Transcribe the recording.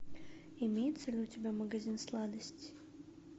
имеется ли у тебя магазин сладостей